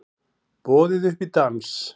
Boðið upp í dans